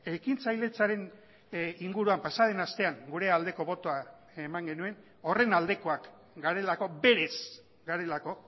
ekintzailetzaren inguruan pasa den astean gure aldeko botoa eman genuen horren aldekoak garelako berez garelako